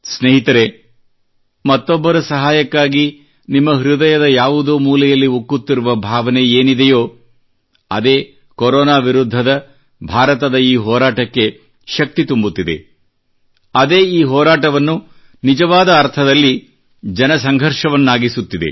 ಸ್ನೇಹಿತರೆ ಮತ್ತೊಬ್ಬರ ಸಹಾಯಕ್ಕಾಗಿ ನಿಮ್ಮ ಹೃದಯದ ಯಾವುದೋ ಮೂಲೆಯಲ್ಲಿ ಉಕ್ಕುತ್ತಿರುವ ಭಾವನೆಯೇನಿದೆಯೋ ಅದೇ ಕೊರೊನಾ ವಿರುದ್ಧದ ಭಾರತದ ಈ ಹೋರಾಟಕ್ಕೆ ಶಕ್ತಿ ತುಂಬುತ್ತಿದೆ ಅದೇ ಈ ಹೋರಾಟವನ್ನು ನಿಜವಾದ ಅರ್ಥದಲ್ಲಿ ಜನಸಂಘರ್ಷವನ್ನಾಗಿಸುತ್ತಿದೆ